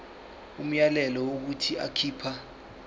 umyalelo wokuthi akhipha